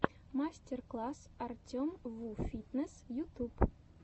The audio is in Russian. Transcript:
мастер класс артемвуфитнесс ютюб